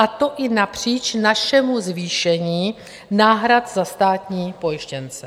A to i napříč našemu zvýšení náhrad za státní pojištěnce.